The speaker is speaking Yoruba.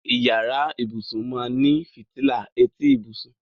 Ìyàrá ìbùṣún máá ní fítílà ètí ìbùṣún.